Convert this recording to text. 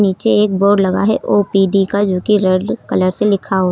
नीचे एक बोर्ड लगा है ओ_पी_डी का जोकि रेड कलर से लिखा हुआ--